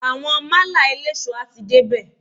Àwọn málà eléso a ti dé bè.